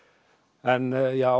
en já